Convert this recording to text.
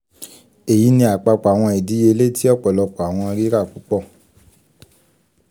eyi ni apapọ awọn idiyele ti ọpọlọpọ awọn rira pupọ